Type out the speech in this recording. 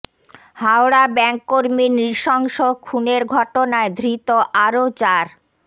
Howrah bank কর্মীর নৃশংস খুনের ঘটনায় ধৃত আরও চার